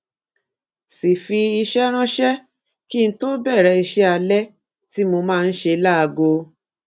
sì fi iṣé ránṣé kí n tó bèrè iṣé alé tí mo máa ń ṣe láago